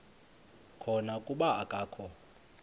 khona kuba akakho